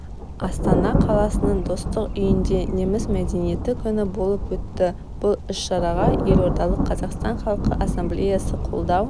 астана қаласының достық үйінде неміс мәдениеті күні болып өтті бұл іс-шараға елордалық қазақстан халқы ассамблеясы қолдау